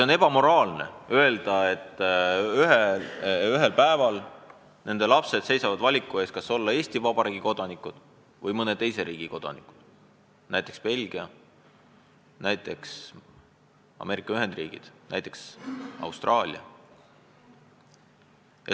On ebaeetiline neile inimestele öelda, et ühel päeval nende lapsed siiski seisavad valiku ees, kas olla Eesti Vabariigi kodanikud või mõne teise riigi kodanikud, näiteks Belgia, Ameerika Ühendriikide või Austraalia kodanikud.